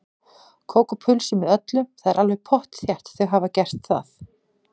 Kók og pulsu með öllu, það er alveg pottþétt, þau hafa gert það.